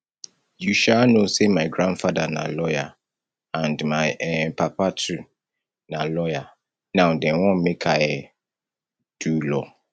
you um know say my grandfather na lawyer and my um papa too na lawyer now dem wan make i um do law